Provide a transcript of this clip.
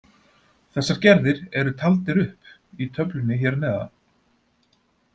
Þessar gerðir eru taldir upp í töflunni hér að neðan.